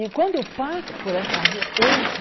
E quando eu passo por essa rua hoje,